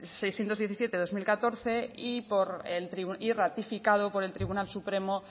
seiscientos diecisiete barra dos mil catorce y ratificado por el tribunal supremo